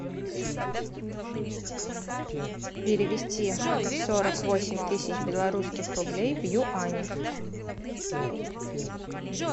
перевести сорок восемь тысяч белорусских рублей в юани